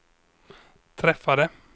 träffade